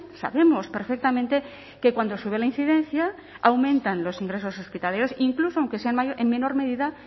sabemos perfectamente que cuando sube la incidencia aumentan los ingresos hospitalarios incluso aunque sean en menor medida